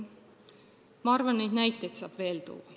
Ma arvan, et neid näiteid saab veel tuua.